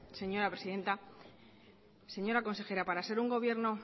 señora presidenta señora consejera para ser un gobierno